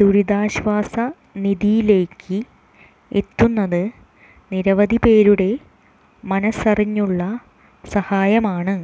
ദുരിതാശ്വാസ നിധിയിലേക്ക് എത്തുന്നത് നിരവധി പേരുടെ മനസ്സറിഞ്ഞുള്ള സഹായമാണ്